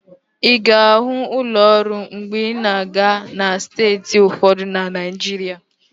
Ị ga-ahụ ụlọ ụrọ mgbe ị na-aga na steeti ụfọdụ na Naijiria.